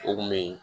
O kun be yen